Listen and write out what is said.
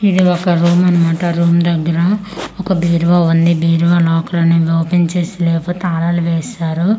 ఇది ఒక రూమ్ అన్నమాట రూమ్ దెగ్గర ఒక బీరువా ఉంది బీరువా లాకర్ ఓపెన్ చేసి లేకపో తాళాలు వేశారు.